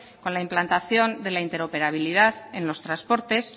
con la implantación de la interoperabilidad en los transportes